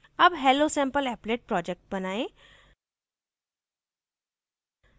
अब hellosampleapplet project बनाएँ